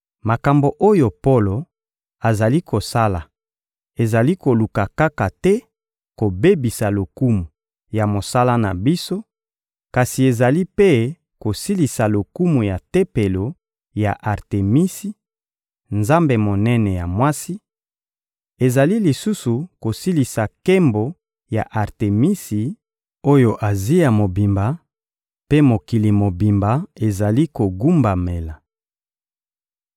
Makambo oyo Polo azali kosala ezali koluka kaka te kobebisa lokumu ya mosala na biso, kasi ezali mpe kosilisa lokumu ya tempelo ya Artemisi, nzambe monene ya mwasi; ezali lisusu kosilisa nkembo ya Artemisi oyo Azia mobimba mpe mokili mobimba ezali kogumbamela.